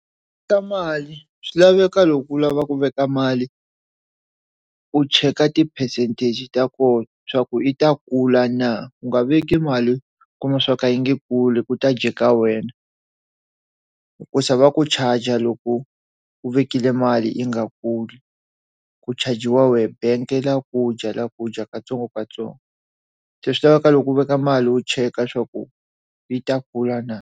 U ta mali swi laveka loko u lava ku veka mali u cheka ti percentage ta koho swa ku yi ta kula na u nga veki mali kumbe swo ka yi nga kuli ku ta jika wena ku sava ku charger loko u vekile mali yi nga kuli ku charg-iwa wena bank yi ta ku dya ya ku dya katsongokatsongo se swi lava loko u veka mali wu cheka swa ku yi ta kula na.